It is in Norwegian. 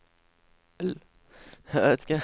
I